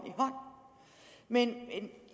men